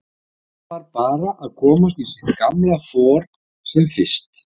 Hann þarf bara að komast í sitt gamla for sem fyrst.